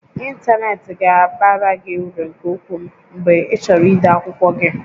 Ịntanetị ga-abara gị uru nke ukwuu mgbe ịchọrọ ide akwụkwọ gị